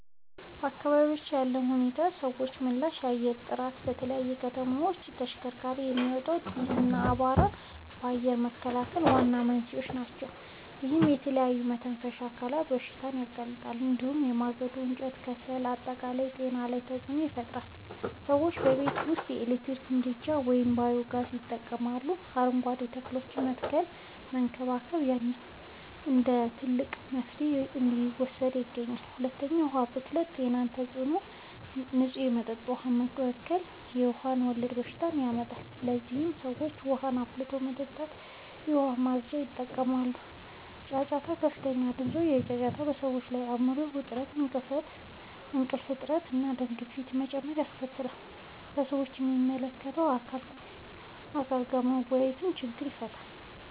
በአካባቢያችን ያለው ሁኔታና የሰዎች ምላሽ፦ 1. የአየር ጥራት፦ በተለይ ከተሞች ውስጥ ከተሽከርካሪዎች የሚወጣ ጢስ እና አቧራ ለአየር መበከል ዋና መንስኤዎች ናቸው። ይህም ለተለያዩ የመተንፈሻ አካላት በሽታዎች ያጋልጣል። እንዲሁም የማገዶ እንጨትና የከሰል አጠቃቀም ጤና ላይ ተጽዕኖ ይፈጥራል። ሰዎችም በቤት ውስጥ የኤሌክትሪክ ምድጃዎችን ወይም ባዮ-ጋዝ ይጠቀማሉ፣ አረንጓዴ ተክሎችን የመትከልና የመንከባከብ ባህል እንደ ትልቅ መፍትሄ እየተወሰደ ይገኛል። 2. የዉሀ ብክለት የጤና ተጽዕኖ፦ የንጹህ መጠጥ ውሃ መበከል የውሃ ወለድ በሽታዎችን ያመጣል። ለዚህም ሰዎች ውሃን አፍልቶ መጠጣትና የዉሃ ማፅጃን ይጠቀማሉ። 3. ጫጫታ፦ ከፍተኛ ድምጾች (ጫጫታ) በሰዎች ላይ የአይምሮ ዉጥረት፣ የእንቅልፍ እጥረት፣ እና የደም ግፊት መጨመር ያስከትላል። ሰዎችም ከሚመለከተዉ አካል ጋር በመወያየት ችግሩን ይፈታሉ።